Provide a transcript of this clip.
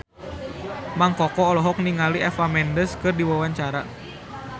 Mang Koko olohok ningali Eva Mendes keur diwawancara